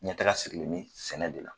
Ɲɛtaga sirilen bɛ sɛnɛ de la